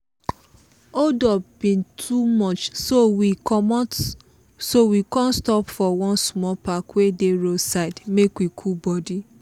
holdup bin too much so we come stop for one small park wey dey road side make we cool body.